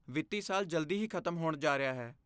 ਵਿੱਤੀ ਸਾਲ ਜਲਦੀ ਹੀ ਖਤਮ ਹੋਣ ਜਾ ਰਿਹਾ ਹੈ।